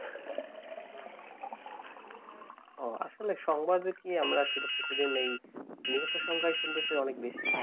ওহ আসলে সংবাদ কি আমরা শুধু প্রতিদিন এই নিহতের সংখ্যায় শুনছি অনেক বেশি